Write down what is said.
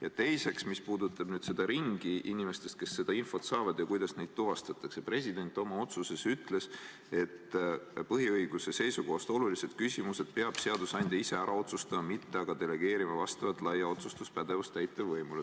Ja teiseks, mis puudutab inimeste ringi, kes seda infot saavad, ja seda, kuidas neid tuvastatakse – president oma otsuses ütles, et põhiõiguste seisukohast olulised küsimused peab seadusandja ise ära otsustama, mitte delegeerima vastavat laia otsustuspädevust täitevvõimule.